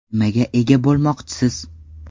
Nimaga ega bo‘lmoqchisiz?